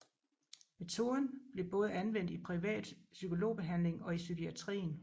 Metoden blev både anvendt i privat psykologbehandling og i psykiatrien